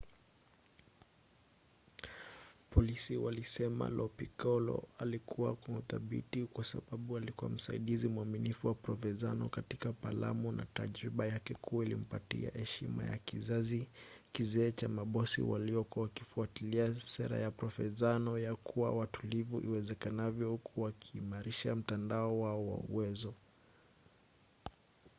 polisi walisema lo piccolo alikuwa na udhibiti kwa sababu alikuwa msaidizi mwaminifu wa provenzano katika palamo na tajiriba yake kuu ilimpatia heshima ya kizazi kizee cha mabosi walipokuwa wakifuatilia sera ya provenzano ya kuwa watulivu iwezekanavyo huku wakiimarisha mtandao wao wa uwezo